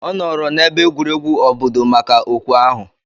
Ọ nọọrọ n'ebe egwuregwu obodo maka okwe ahụ?